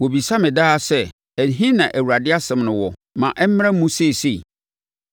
Wɔbisa me daa sɛ, “Ɛhe na Awurade asɛm no wɔ? Ma ɛmmra mu seesei!”